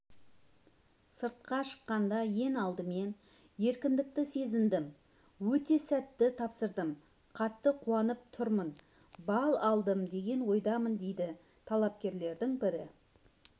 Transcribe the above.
сыртқа шыққанда ең алдымен еркіндікті сезіндім өте сәтті тапсырдым қатты қуанып тұрмын балл алдым деген ойдамын дейді талапкерлердің бірі